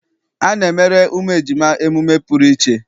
A na-emere ụmụ ejima emume pụrụ iche.